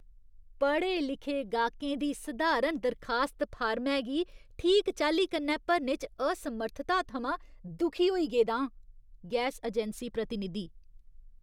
पढ़े लिखे गाह्कें दी सधारण दरखास्त फार्मै गी ठीक चाल्ली कन्नै भरने च असमर्थता थमां दुखी होई गेदा आं। गैस अजैंसी प्रतिनिधि